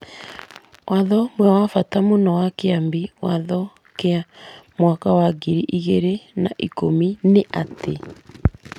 Watho ũmwe wa bata mũno wa Kĩambi Watho kĩa mwaka wa ngiri igĩrĩ na ikũmi nĩ atĩ,